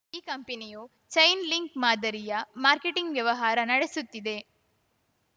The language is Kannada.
ಈ ಕಂಪನಿಯು ಚೈನ್‌ ಲಿಂಕ್‌ ಮಾದರಿಯ ಮಾರ್ಕೆಟಿಂಗ್‌ ವ್ಯವಹಾರ ನಡೆಸುತ್ತಿದೆ